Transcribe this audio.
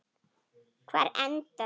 Hvar enda þau?